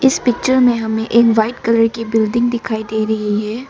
इस पिक्चर में हमें एक व्हाइट कलर की बिल्डिंग दिखाई दे रही है।